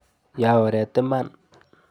Ya oret iman.